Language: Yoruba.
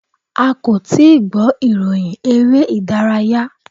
A kò tíì gbọ́ ìròyìn eré ìdárayá.